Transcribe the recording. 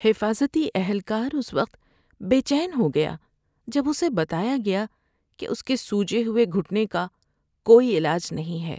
حفاظتی اہلکار اس وقت بے چین ہو گیا جب اسے بتایا گیا کہ اس کے سوجے ہوئے گھٹنے کا کوئی علاج نہیں ہے۔